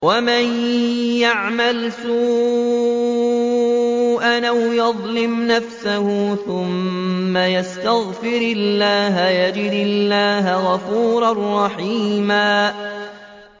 وَمَن يَعْمَلْ سُوءًا أَوْ يَظْلِمْ نَفْسَهُ ثُمَّ يَسْتَغْفِرِ اللَّهَ يَجِدِ اللَّهَ غَفُورًا رَّحِيمًا